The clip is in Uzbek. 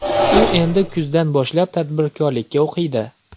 U endi kuzdan boshlab tadbirkorlikka o‘qiydi.